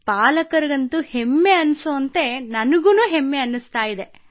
ಪಾಲಕರಿಗೆ ಹೆಮ್ಮೆಯೆನಿಸುವಂತೆ ನನಗೂ ತುಂಬಾ ಹೆಮ್ಮೆಯೆನಿಸುತ್ತದೆ